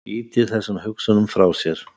Ýtir þessum hugsunum frá sér.